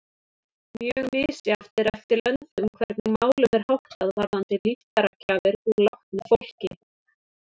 Mjög misjafnt er eftir löndum hvernig málum er háttað varðandi líffæragjafir úr látnu fólki.